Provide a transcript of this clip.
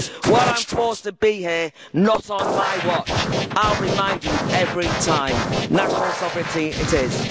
While I'm forced to be here, not on my watch, I'll remind you every time, national sovereignty it is.